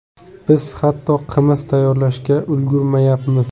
Biz hatto qimiz tayyorlashga ulgurmayapmiz.